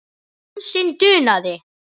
Dansinn dunaði.